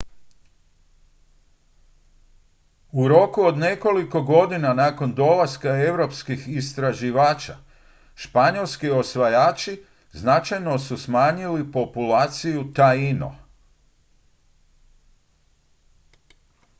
u roku od nekoliko godina nakon dolaska europskih istraživača španjolski osvajači značajno su smanjili populaciju taino